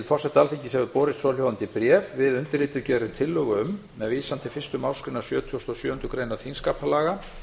forseta alþingis hefur borist svohljóðandi bréf við undirrituð gerum tillögu um með vísan í fyrstu málsgrein sjötugustu og sjöundu greinar þingskapalaga